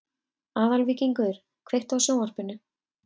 Aðalvíkingur, kveiktu á sjónvarpinu.